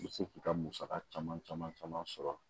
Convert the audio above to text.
I bɛ se k'i ka musaka caman caman sɔrɔ